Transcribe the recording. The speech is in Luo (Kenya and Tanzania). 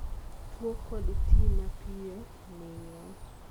tuo kod ti mapiyo ne yien